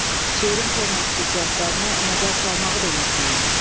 Şeirin forma xüsusiyyətlərinə nəzər salmağı da unutmayın.